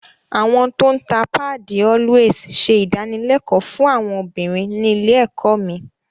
Àwọn tó ń ta páàdì “Always” ṣe ìdánilẹ́kọ̀ọ́ fún àwọn obìnrin ní ilé ẹ̀kọ́ mi